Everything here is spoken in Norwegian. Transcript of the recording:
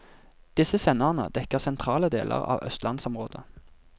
Disse senderne dekker sentrale deler av østlandsområdet.